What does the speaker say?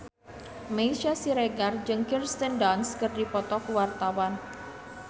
Meisya Siregar jeung Kirsten Dunst keur dipoto ku wartawan